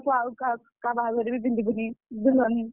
ଆଉ କାହା ବାହାଘରରେ ବି ପିନ୍ଧିବୁନି